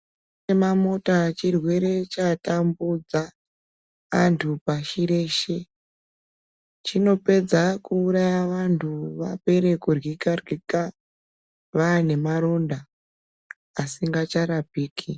Mamota chirwere chatambudza antu pashi reshe. Chinopedza kuuraya vantu vapere kuryika-ryika, vaanemaronda asingacharapiki.